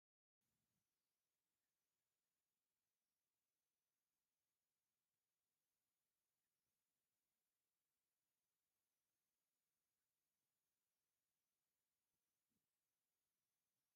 እዚ አብ ገጠር ኮይኑ እክሊ ዝወቀለ ኮይኑ ነቅፁ ክዐፀድ ዝተቃረበ እንትከውን አዛራርኡኡ ድማ ብመስመር ኮይኑ ፀብቅ ዝበለ ምህርት ከምዝረከቦ እዩ።